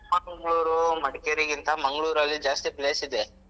Chikmagalur, Madikeri ಗಿಂತ Mangalore ಅಲ್ಲಿ ಜಾಸ್ತಿ place ಇದೆ.